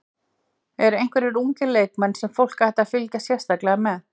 Eru einhverjir ungir leikmenn sem fólk ætti að fylgjast sérstaklega með?